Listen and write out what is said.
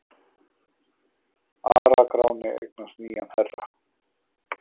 ARA-GRÁNI EIGNAST NÝJAN HERRA